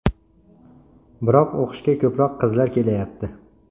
Biroq o‘qishga ko‘proq qizlar kelayapti.